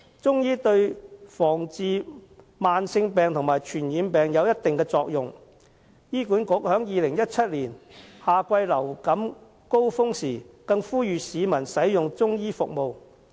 中醫對防治慢性病及傳染病有一定作用，醫管局在2017年的夏季流感高峰時更呼籲市民使用中醫服務。